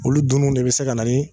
Olu dunni de bɛ se ka na ni